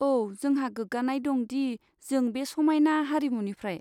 औ, जोंहा गोग्गानाय दं दि जों बे समायना हारिमुनिफ्राय।